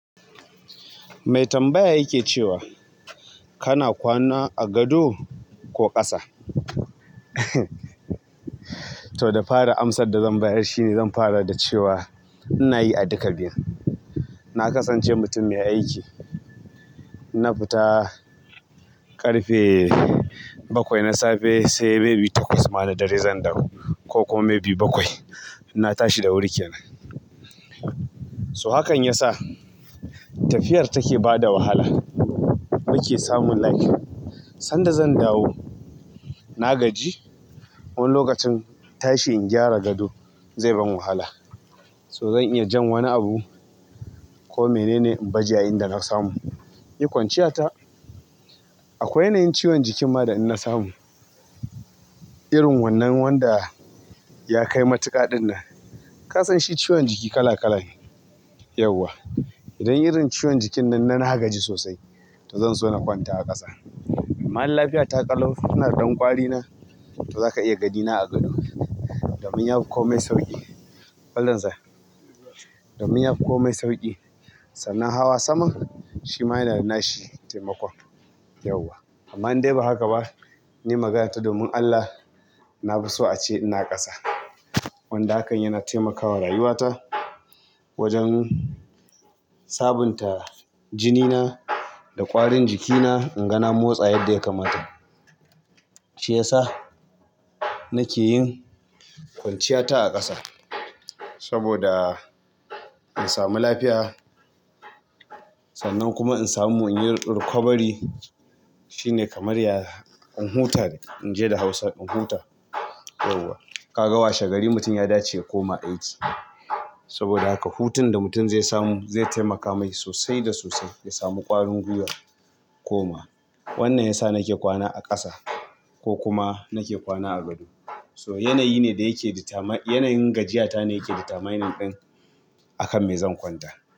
Mai tambaya yake cewa, kana kwana a gado ko ƙasa? To, da fari amsar da zan bayar shine zan fara da cewa ina yi a duka biyun. Na kasance mutum mai aiki, in fita ƙarfe bakwai na safe sai maybe takwas ma da ɗari zan dawo ko kuma maybe bakwai. Na tashi da wuri kenan. To hakan ya sa tafiyar take bada wahala, muke samun like, san da zan dawo na gaji wani lokacin tashi in gyara gado zai ban wahala. So zan iya jan wani abu ko menene in baje a inda na samu. Yi kwanciyata. Akwai yanayin ciwon jikin ma da ina samu. Irin wannan wanda ya kai matuƙaɗin nan. Ka san shi ciwon jiki kala-kala ne, yauwa. Idan irin ciwon jikin nan na nagaji sosai to zan so na kwanta a ƙasa. Amman in lafiyata ƙalau, ina da ɗan kwari na, to za ka iya ganina a gado. Domin ya fi komai sauƙi, domin ya fi komai sauƙi. Sannan hawa saman shi ma yana da nashi taimakon, yauwa. Amma in dai ba haka ba, ni magana ta domin Allah na fi so ace ina ƙasa. Wanda hakan yana taimakawa rayuwata wajen sabunta jinina da ƙwarin jikina, in ga na motsa yadda ya kamata. Shi ya sa nake yin kwanciyata a ƙasa saboda in samu lafiya. Sannan kuma in samu in yi rikwabari. Shi ne kamar ya in huta, in je da Hausa in huta yauwa. Ka ga washe gari mutum ya dace ya koma aiki. Saboda haka hutun da mutum zai samu zai taimaka mai sosai da sosai ya samu ƙwarin gwiwa koma. Wannan ya sa nake kwana a ƙasa ko kuma nake kwana a gado. So yanayi ne da yake ditamai, yanayin gajiyata ne yake ditamainin ɗin akan me zan kwanta.